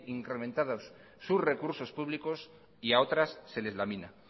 incrementados sus recursos públicos y a otras se les lamina